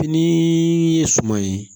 Fini ye suman ye